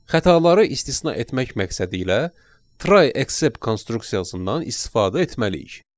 Xətaları istisna etmək məqsədilə try except konstruksiyasından istifadə etməliyik.